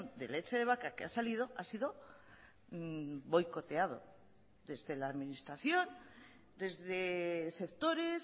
de leche de vaca que ha salido ha sido boicoteado desde la administración desde sectores